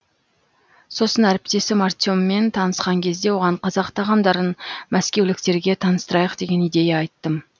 сосын әріптесім артеммен танысқан кезде оған қазақ тағамдарын мәскеуліктерге таныстырайық деген идея айттым